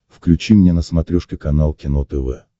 включи мне на смотрешке канал кино тв